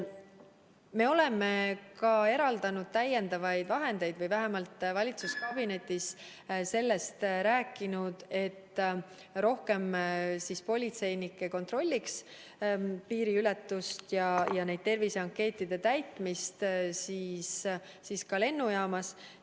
Me oleme eraldanud ka täiendavaid vahendeid või vähemalt oleme valitsuskabinetis sellest rääkinud, et rohkem politseinikke peaks kontrollima piiriületust ja terviseankeetide täitmist lennujaamas.